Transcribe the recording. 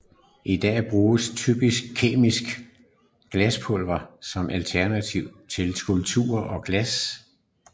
I dag bruges typisk kemisk glaspulver som alternativ til klumper af glas